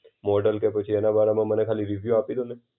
Model કે પછી એના બારામાં મને ખાલી રિવ્યુ આપી દો ને.